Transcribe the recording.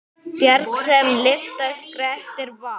Bjarg sem lyfta Grettir vann.